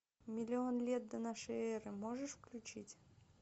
миллион лет до нашей эры можешь включить